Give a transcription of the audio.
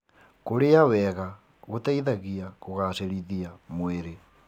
Kũrĩa wega gũteithagia kũgacĩrithia mwĩrĩ.